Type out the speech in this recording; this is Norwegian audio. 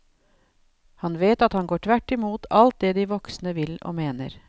Han vet at han går tvert imot alt det de voksne vil og mener.